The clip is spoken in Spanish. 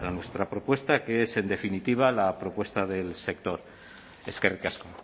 nuestra propuesta que es en definitiva la propuesta del sector eskerrik asko